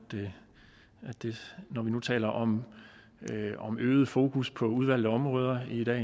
når vi nu taler om øget fokus på udvalgte områder i dag